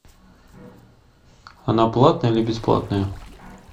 она платная или бесплатная